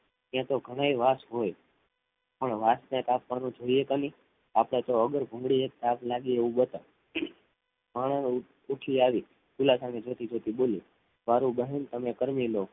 યે થો ઘડે વાસ હોય પણ વાસ ને કાપવાનું જોઈ આલી આપદે થો વગર ભોગડીએ આગ લાગે બતાડ અને ઉઠી આવી દિલાસાને જોઈતી જોતી બોલી મારૂ દહન તમે કરવીલો